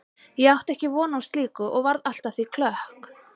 Ég átti ekki von á slíku og varð allt að því klökk.